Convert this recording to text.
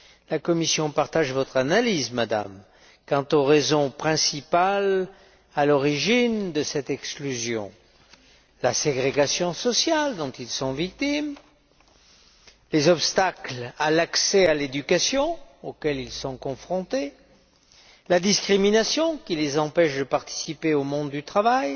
La Commission partage votre analyse, Madame, quant aux raisons principales à l'origine de cette exclusion la ségrégation sociale dont ils sont victimes, les obstacles à l'accès à l'éducation auxquels ils sont confrontés, la discrimination qui les empêche de participer pleinement au monde du travail,